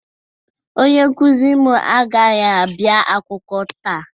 Onye nkuzi m agaghị abịa akwụkwọ taa